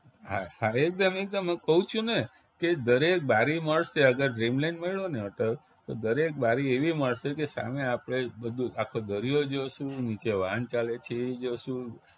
હા હા થાય જ ને હું કવું છું ને કે દરેક બારી મળશે અગર dreamland મળ્યો ને hotel તો દરેક બારી એવી મળશે કે સામે આપણે બધું આખો દરિયો જોશું, નીચે વાહન ચાલે છે એ જોશું